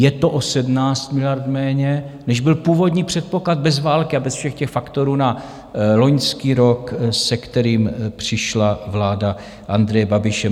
Je to o 17 miliard méně, než byl původní předpoklad bez války a bez všech těch faktorů na loňský rok, se kterým přišla vláda Andreje Babiše.